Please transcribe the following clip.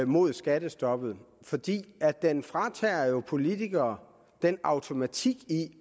mod skattestoppet fordi den fratager politikere den automatik i